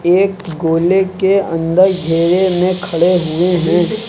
एक गोले के अंदर घेरे में खड़े हुए हैं।